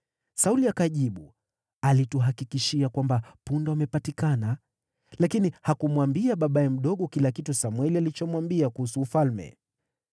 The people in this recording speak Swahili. Sauli akajibu, “Alituhakikishia kwamba punda wamepatikana.” Lakini hakumwambia babaye mdogo kila kitu Samweli alichomwambia kuhusu ufalme.